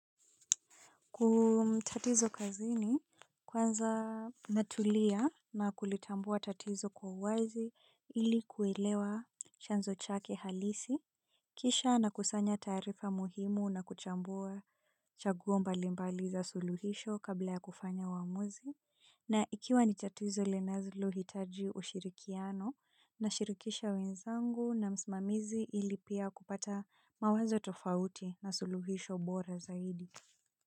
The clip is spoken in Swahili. Tatizo kazini kwanza natulia na kulitambua tatizo kwa uwazi ilikuelewa chanzo chake halisi, kisha nakusanya taarifa muhimu na kuchambua chaguo mbali mbali za suluhisho kabla ya kufanya uamuzi. Na ikiwa ni tatizo linalohitaji ushirikiano nashirikisha wenzangu na msimamizi ili pia kupata mawazo tofauti na suluhisho bora zaidi.